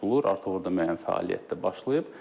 Artıq orada müəyyən fəaliyyət də başlayıb.